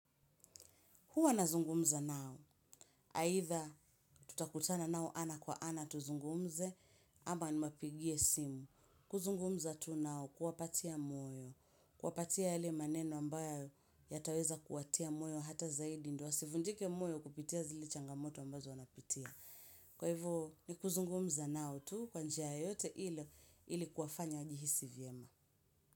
Huwa nazungumza nao, aidha. Tutakutana nao ana kwa ana tuzungumze, ama nimapigie simu. Kuzungumza tu nao kuwapatia moyo. Kuwapatia yale maneno ambayo yataweza kuwatia moyo hata zaidi, ndio wasivunjike moyo kupitia zile changamoto ambazo wanapitia. Kwa hivo, ni kuzungumza nao tu, kwa njia yeyote ile, ili kuwafanya wajihisi vyema.